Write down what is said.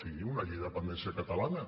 sí una llei de dependència catalana